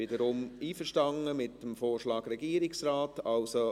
Man ist mit dem Vorschlag des Regierungsrates wiederum einverstanden.